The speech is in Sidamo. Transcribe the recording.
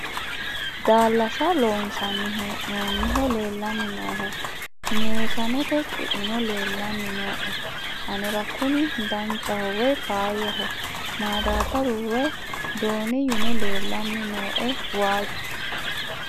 daallasa loonsanni hee'noonniho leellanni noohu meesanete cuino leellanni nooe anera kuni danchaho woy faayyaho madaabbaru woy dooniyuno leellanni nooe waajju